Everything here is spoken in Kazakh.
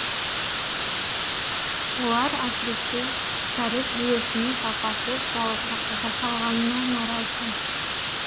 олар әсіресе кәріз жүйесінің сапасыз жасалғанына наразы